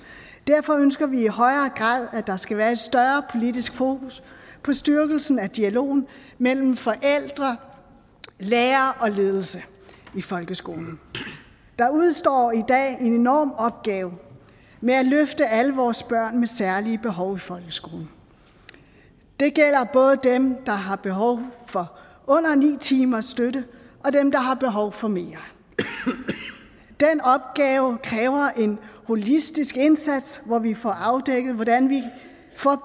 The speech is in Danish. derfor ønsker vi i højere grad at der skal være et større politisk fokus på styrkelsen af dialogen mellem forældre lærere og ledelse i folkeskolen der udestår i dag en enorm opgave med at løfte alle vores børn med særlige behov i folkeskolen det gælder både dem der har behov for under ni timers støtte og dem der har behov for mere den opgave kræver en holistisk indsats hvor vi får afdækket hvordan vi